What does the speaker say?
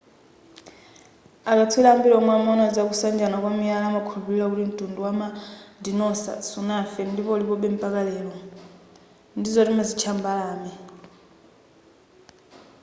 akatswiri ambiri omwe amaona zakusanjana kwa miyala amakhulupilira kuti mtundu wina wama dinosaur sunafe ndipo ulipobe mpaka lero ndizo timazitcha mbalame